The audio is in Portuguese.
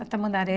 Da Tamandaré.